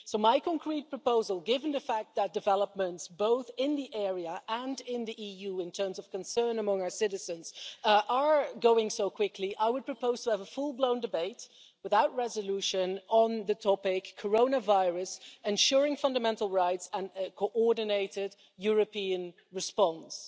My concrete proposal, given the fact that developments, both in the area and in the EU, in terms of concern among our citizens, are going so quickly, I would propose to have a full-blown debate, without resolution, on the topic Coronavirus ensuring fundamental rights and a coordinated European response',